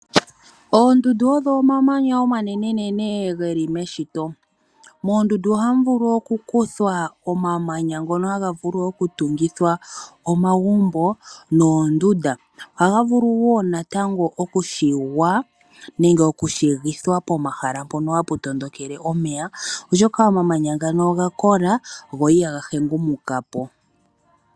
Oondundu odho omamanya omanene geli meshito. Moondundu oha mu vulu oku kuthwa omamanya ngoka haga vulu oku tungithwa omagumbo noondunda. Oha ga vulu wo okushiwa nenge oshigithwa pomahala ngoka hapu tondokele omeya oshoka omamanya ngaka oga kola go iha ga hengumukapo.